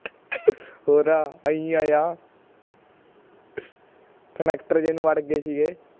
ਹੋਰ ਆਈਂ ਆਏ ਆ ਜੇ ਨੂੰ ਵੜ ਗਏ ਸੀਗੇ